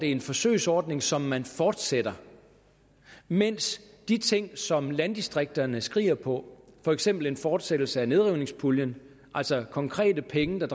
er en forsøgsordning som man fortsætter mens de ting som landdistrikterne skriger på for eksempel en fortsættelse af nedrivningspuljen altså konkrete penge der